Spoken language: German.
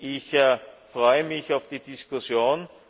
Ich freue mich auf die Diskussion.